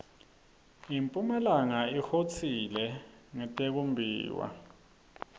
impumalanga ihotsile ngetikumbiwa